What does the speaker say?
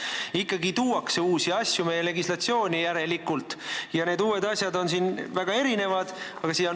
Järelikult ikkagi tuuakse uusi asju meie legislatsiooni ja need uued asjad on väga erinevad.